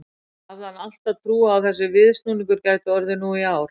Hafði hann alltaf trú á að þessi viðsnúningur gæti orðið nú í ár?